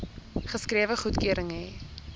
geskrewe goedkeuring hê